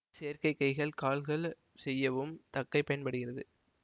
செயற்கை கைகள் கால்கள் செய்யவும் தக்கை பயன்படுகிறது